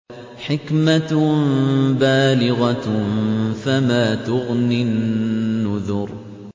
حِكْمَةٌ بَالِغَةٌ ۖ فَمَا تُغْنِ النُّذُرُ